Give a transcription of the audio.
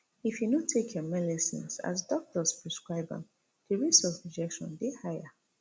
if you no take your melecines as doctors prescribe am di risks of rejection dey higher